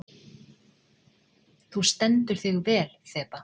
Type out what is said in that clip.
Þú stendur þig vel, Þeba!